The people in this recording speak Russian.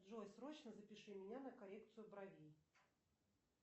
джой срочно запиши меня на коррекцию бровей